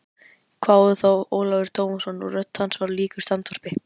hváði þá Ólafur Tómasson og rödd hans var líkust andvarpi.